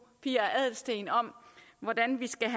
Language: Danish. pia adelsteen om hvordan vi skal